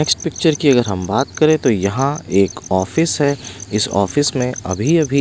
इस पिक्चर की अगर हम बात करें तो यहाँ एक ऑफिस है इस ऑफिस में अभी अभी--